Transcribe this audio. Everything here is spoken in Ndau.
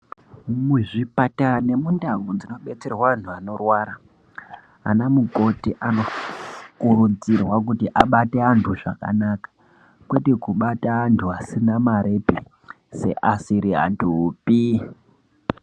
Muzvipatara nemundau dzinobetserwa antu anorwara anamukoti anokurudzirwa kuti abate antu zvakanaka .Kwete kubata antu asina marepi seasiri antupi.